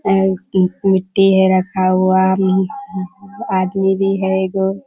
और एक मिट्टी है रखा हुआ आदमी भी है एगो।